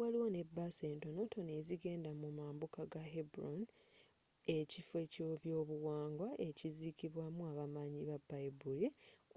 waliwo ne bus entonotono ezigenda mu mambuka ga hebron ekifo ekyebyobuwangwa ekizikibwamu abamanyi babayibuli